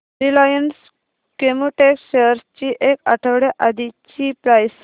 Reliance Chemotex shares ची एक आठवड्या आधीची प्राइस